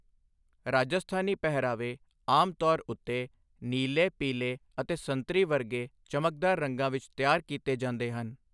ਰਾਜਸਥਾਨੀ ਪਹਿਰਾਵੇ ਆਮ ਤੌਰ ਉੱਤੇ ਨੀਲੇ, ਪੀਲੇ ਅਤੇ ਸੰਤਰੀ ਵਰਗੇ ਚਮਕਦਾਰ ਰੰਗਾਂ ਵਿੱਚ ਤਿਆਰ ਕੀਤੇ ਜਾਂਦੇ ਹਨ।